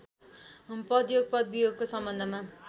पदयोग पदवियोगका सम्बन्धमा